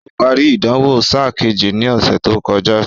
Ó parí ìdánwò sáà kejì ní ọ̀sẹ̀ tó kọjá